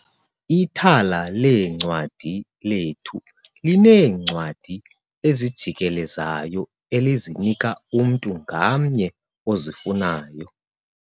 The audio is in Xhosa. Ithala leencwadi lethu lineencwadi ezijikelezayo elizinika umntu ngamnye ozifunayo.